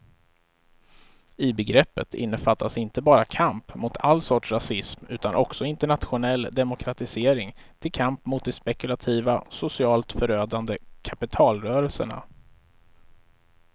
I begreppet innefattas inte bara kamp mot all sorts rasism utan också internationell demokratisering till kamp mot de spekulativa, socialt förödande kapitalrörelserna.